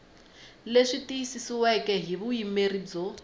leswi tiyisisiweke hi vuyimeri byo